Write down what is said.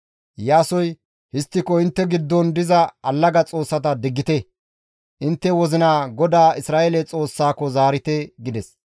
Iyaasoy, «Histtiko, intte giddon diza allaga xoossata diggite; intte wozinaa GODAA Isra7eele Xoossaako zaarite» gides.